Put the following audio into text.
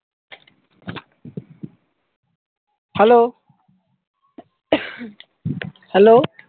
Hello Hello